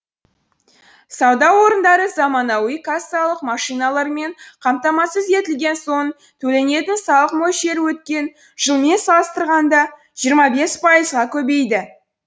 сауда орындары заманауи кассалық машиналармен қамтамасыз етілген соң төленетін салық мөлшері өткен жылмен салыстырғанда жиырма бес пайызға көбейді